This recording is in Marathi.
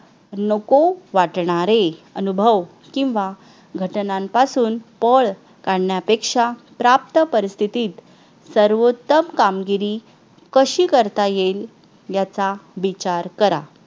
नको वाटणारे अनुभव किंवा घटनांपासून पळ काढण्यापेक्षा प्राप्त परिस्थितीत सर्वोत्तम कामगिरी कशी करता येईल याचा विचार करा